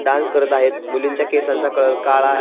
Dance करत आहेत मुलींच्या केसांचा कलर काळा आहे.